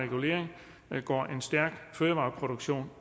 med går en stærk fødevareproduktion